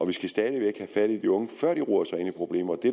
vi skal stadig væk have fat i de unge før de roder sig ind i problemer det